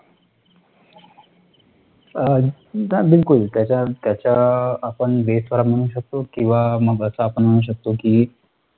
हा, बिलकुल, त्याच्या त्याच्या आपण BASE वर म्हणू शकतो किंवा मग असं आपण म्हणू शकतो कि,